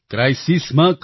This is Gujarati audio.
ક્રાઇસિસ માં